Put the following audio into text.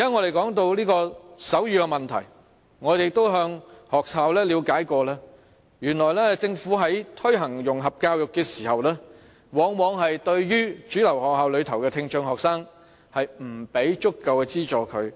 我們現在提到手語的問題，我們亦曾向學校了解過，原來政府在推行融合教育時，往往沒有對主流學校內的聽障學生提供足夠資助。